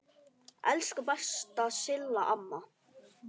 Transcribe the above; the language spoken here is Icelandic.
Elsku besta Silla amma.